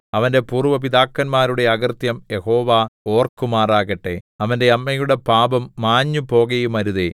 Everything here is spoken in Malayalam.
അവന്റെ പൂര്‍വ്വ പിതാക്കന്മാരുടെ അകൃത്യം യഹോവ ഓർക്കുമാറാകട്ടെ അവന്റെ അമ്മയുടെ പാപം മാഞ്ഞുപോകയുമരുതേ